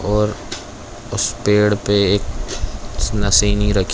और उस पेड़ पे एक नशीनी रखी--